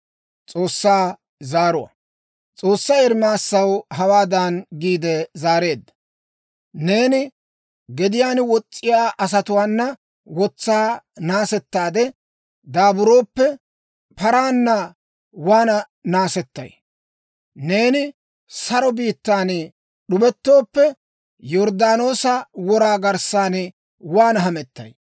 S'oossay Ermaasaw hawaadan giide zaareedda; «Neeni gediyaan wos's'iyaa asatuwaana wotsaa naasettaade daaburooppe, paraana waana naasettay? Neeni saro biittan d'ubettooppe, Yorddaanoosa wora garssan waana hamettay?